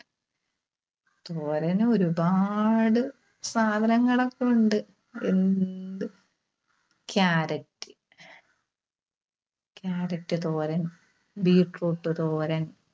തോരന് ഒരുപാട് സാധനങ്ങളൊക്കെയുണ്ട്, ഉണ്ട് Carrot Carrot തോരൻ, Beetroot തോരൻ.